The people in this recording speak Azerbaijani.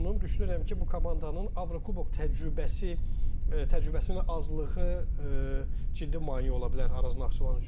Düşünürəm ki, bu komandanın Avrokubok təcrübəsi təcrübəsinin azlığı ciddi maneə ola bilər Araz Naxçıvan üçün.